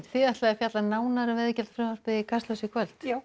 þið ætlið að fjalla nánar um veiðigjaldafrumvarpið í Kastljósi í kvöld já